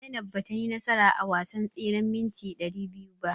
Zainab batayi nasara a wasan tseren mita ɗari biyu ba.